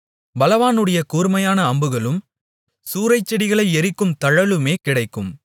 பலவானுடைய கூர்மையான அம்புகளும் சூரைச்செடிகளை எரிக்கும் தழலுமே கிடைக்கும்